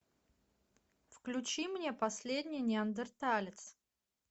включи мне последний неандерталец